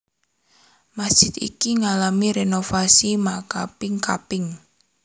Masjid iki ngalami rénovasi makaping kaping